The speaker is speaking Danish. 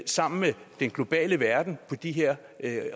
sammen med den globale verden på de her